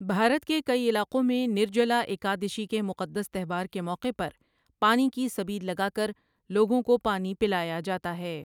بھارت کے کئی علاقوں میں نِرجَلا ایکٓادٓشِی کے مقدس تہوار کے موقع پر پانی کی سبیل لگا کر لوگوں کو پانی پلایا جاتا ہے۔